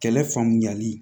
Kɛlɛ faamuyali